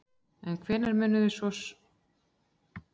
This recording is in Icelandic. En hvenær munu svo svörin liggja fyrir?